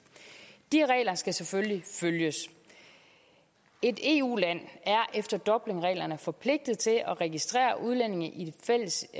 de regler skal selvfølgelig følges et eu land er efter dublinreglerne forpligtet til at registrere udlændinge i det fælles